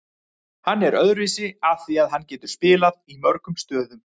Hann er öðruvísi af því að hann getur spilað í mörgum stöðum.